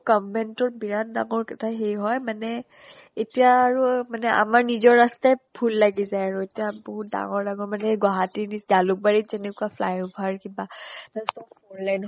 government ত বিৰাত ডঙৰ এটা সেই হয় মানে এতিয়া আৰু মানে আমাৰ নিজৰ ৰাস্তাই ভূল লাগি যায়। আৰু এতিয়া বিহুত ডঙৰ ডঙৰ মানে গুৱাহাটীৰ নিচ জালুক বাৰীত যেনেকুৱা flyover কিবা four lane